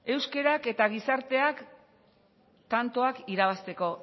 euskerak eta gizarteak tantoak irabazteko